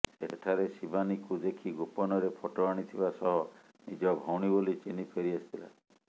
ସେଠାରେ ଶିବାନୀକୁ ଦେଖି ଗୋପନରେ ଫଟୋ ଆଣିଥବା ସହ ନିଜ ଭଉଣୀ ବୋଲି ଚିହ୍ନି ଫେରିଆସିଥିଲା